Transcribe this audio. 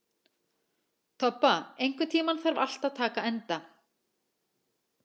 Tobba, einhvern tímann þarf allt að taka enda.